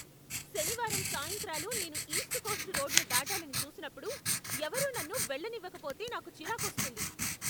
శనివారం సాయంత్రాలు నేను ఈస్ట్ కోస్ట్ రోడ్ను దాటాలని చూసినప్పుడు, ఎవరూ నన్ను వెళ్ళనివ్వకపోతే నాకు చిరాకొస్తుంది.